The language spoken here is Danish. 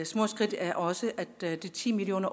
små skridt er også at de ti million